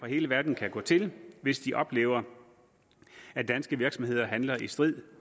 hele verden kan gå til hvis de oplever at danske virksomheder handler i strid